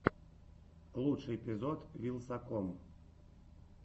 лучший эпизод вилсаком